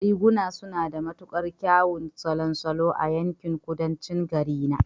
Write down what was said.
Riguna suna da matuƙar kyawun salon salo a yankin Kudancin garina